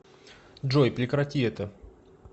джой прекрати это